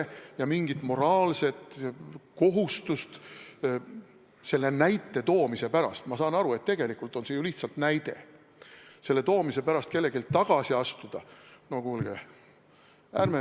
Kas kellelgi on mingi moraalne kohustus selle näite toomise pärast – ma saan aru, et tegelikult on see ju lihtsalt näide – tagasi astuda?